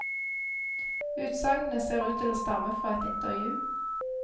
Utsagnene ser ut til å stamme fra et intervju.